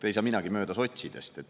Ei saa minagi mööda sotsidest.